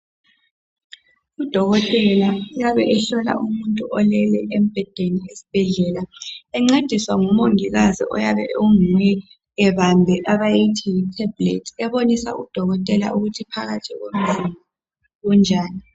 UDokotela uyabe ehlola umuntu olele embhedeni esibhedlela, encediswa ngumongikazi oyabe onguye ebambe abayithi Yi tablet. Ebonisa udokotela ukuthi phakathi komzimba kunjani.